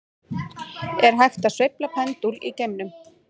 Er hægt að sveifla pendúl í geimnum?